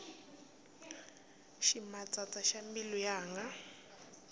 ximatsatsa xa mbilu yanga